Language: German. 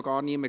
Niemand